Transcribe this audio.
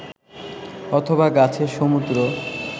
অথবা গাছের সমুদ্র